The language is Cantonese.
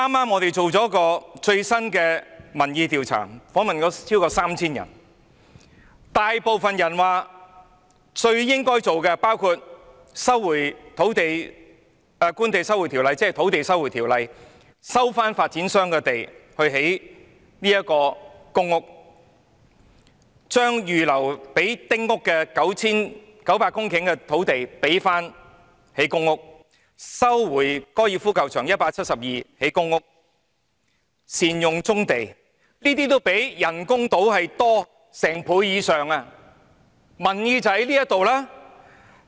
我們剛剛進行了一項民意調查，訪問了超過 3,000 人，大部分受訪者表示最應該做的事包括引用《收回土地條例》，收回發展商擁有的土地來興建公屋、把預留作興建丁屋的900公頃土地用作興建公屋、收回粉嶺高爾夫球場的172公頃土地，用作興建公屋、善用棕地等。